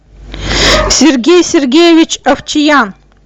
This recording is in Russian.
сергей сергеевич овчиян